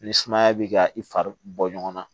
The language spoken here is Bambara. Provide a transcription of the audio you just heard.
Ni sumaya b'i ka i fari bɔ ɲɔgɔn na